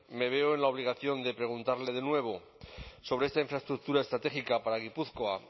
me veo en la obligación de preguntarle de nuevo sobre esta infraestructura estratégica para gipuzkoa